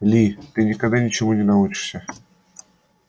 ли ты никогда ничему не научишься